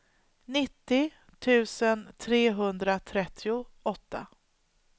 nittio tusen trehundratrettioåtta